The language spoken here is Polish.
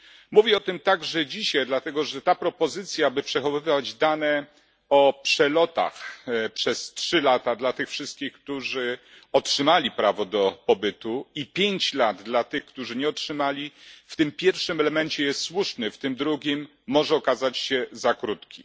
Mówię o tym także dzisiaj, dlatego, że ta propozycja, by przechowywać dane o przelotach przez 3 lata dla tych wszystkich, którzy otrzymali prawo do pobytu, i 5 lat dla tych, którzy nie otrzymali, w tym pierwszym elemencie jest słuszna, w tym drugim proponowany okres może okazać się za krótki.